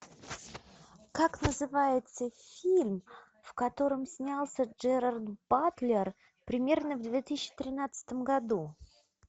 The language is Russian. как называется фильм в котором снялся джерард батлер примерно в две тысячи тринадцатом году